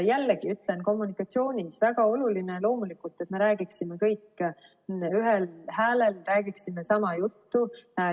Jällegi ütlen, kommunikatsioonis on väga oluline loomulikult, et me räägiksime kõik ühel häälel, räägiksime sama juttu.